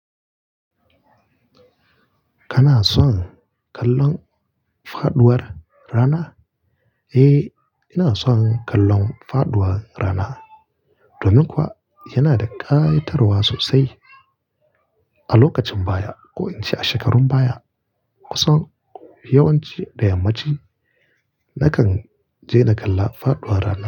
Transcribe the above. Kana son kallon faduwar rana? Eh, ina son kallon faduwar rana. Domin kuwa yana da ƙa'itarwa sosai. A lokacin baya, ko in ce a shekarun baya, kusan yawanci da yammacin na kan je na kalla faduwar rana.